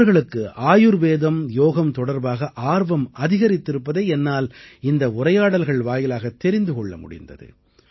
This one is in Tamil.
அவர்களுக்கு ஆயுர்வேதம் யோகம் தொடர்பாக ஆர்வம் அதிகரித்திருப்பதை என்னால் இந்த உரையாடல்கள் வாயிலாகத் தெரிந்து கொள்ள முடிந்தது